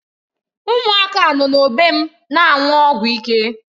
Ụmụaka nọ n'ógbè m na-aṅụ ọgwụ ike.